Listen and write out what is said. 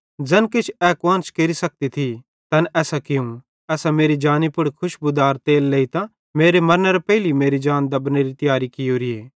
ज़ैन किछ ए कुआन्श केरि सकती थी तैन एसां कियूं एसां मेरी जानी पुड़ खुशबुदार तेल लेइतां मेरे मरनेरां पेइली मेरी जान दबनेरे लेई तियार कियोरीए